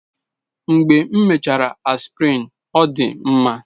Mgbe m mechara Aspirin, ọ dị m mma.